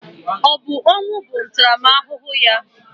Ọ bụ ọnwụ bụ ntaramahụhụ ya?